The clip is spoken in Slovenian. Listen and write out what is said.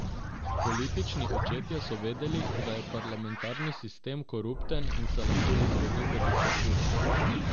Politični očetje so vedeli, da je parlamentarni sistem korupten in se lahko izrodi v diktaturo.